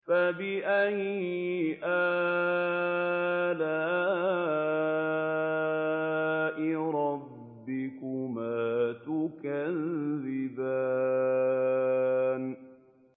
فَبِأَيِّ آلَاءِ رَبِّكُمَا تُكَذِّبَانِ